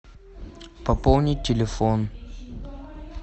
пополнить телефон